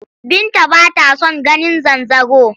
Binta b ata son ganin zanzaro.